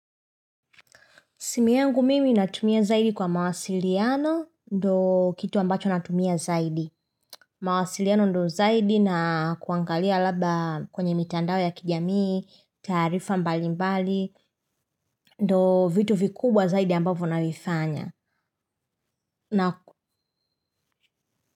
Simu yangu mimi natumia zaidi kwa mawasiliano ndo kitu ambacho natumia zaidi. Mawasiliano ndo zaidi na kuangalia labda kwenye mitandao ya kijamii, taarifa mbalimbali, ndo vitu vikubwa zaidi ambavyo navifanya.